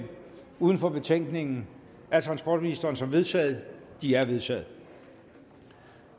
uden for betænkningen af transportministeren som vedtaget de er vedtaget